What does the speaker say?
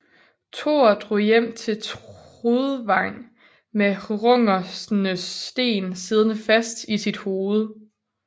Thor drog hjem til Trudvang med Hrungners sten siddende fast i sit hoved